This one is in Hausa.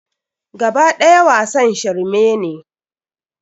Kaba ɗaya wasan shirme ne.